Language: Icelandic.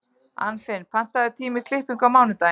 Anfinn, pantaðu tíma í klippingu á mánudaginn.